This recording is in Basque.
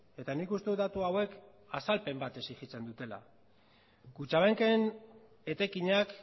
eta nik uste dut datu hauek azalpen bat exigitzen dutela kutxabanken etekinak